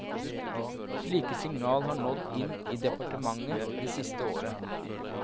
Slike signal har nådd inn i departementet det siste året.